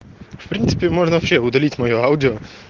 в принципе вообще можно удалить моё аудио